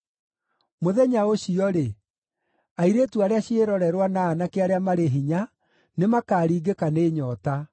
“Mũthenya ũcio-rĩ, “airĩtu arĩa ciĩrorerwa na aanake arĩa marĩ hinya nĩmakaringĩka nĩ nyoota.